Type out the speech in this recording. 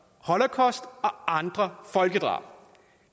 holocaust og andre folkedrab